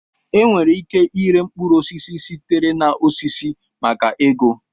Enwere ike ịre mkpụrụ osisi sitere na osisi maka ego